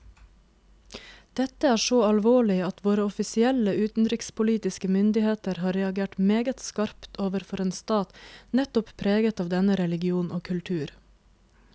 Dette er så alvorlig at våre offisielle utenrikspolitiske myndigheter har reagert meget skarpt overfor en stat nettopp preget av denne religion og kultur.